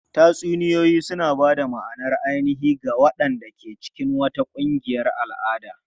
Tatsuniyoyi suna ba da ma'anar ainihi ga waɗanda ke cikin wata ƙungiyar al'ada.